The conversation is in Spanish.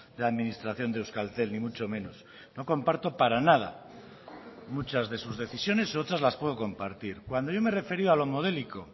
de administración de euskaltel ni mucho menos no comparto para nada muchas de sus decisiones otras las puedo compartir cuando yo me he referido a lo modélico